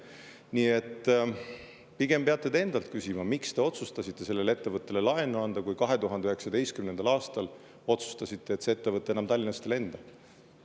Nii et pigem peate te endalt küsima, miks te otsustasite sellele ettevõttele laenu anda, kui 2019. aastal otsustasite, et ettevõte enam Tallinnast ei lenda.